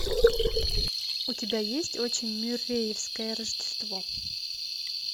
у тебя есть очень мюрреевское рождество